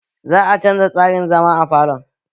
Za a canza tsarin zama a falon